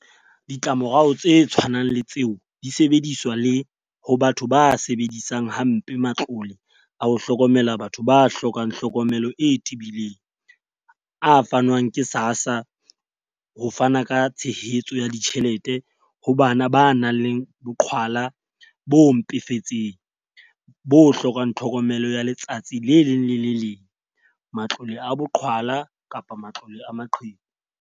Ditlamorao tse tshwanang le tseo di sebediswa le ho batho ba sebedisang ha mpe matlole a ho hlokomela batho ba hlokang hlokomelo e tebileng - a fanwang ke SASSA ho fana ka tshehetso ya ditjhelete ho bana ba nang le boqhwala bo mpefetseng bo hlokang tlhokomelo ya letsatsi le leng le le leng, matlole a boqhwala kapa matlole a maqheku.